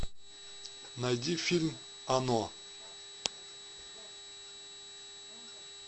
найди фильм оно